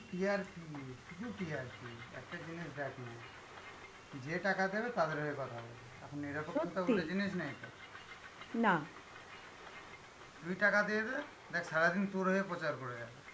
শুধু TRP , একটা জিনিস দেখ না যে টাকা দেবে, তাদের হয়ে কথা বলবে. এখন এরকম জিনিস নেই তো, তুই টাকা দিয়ে দে, দেখ সারাদিন তোর হয়ে প্রচার করে যাবে.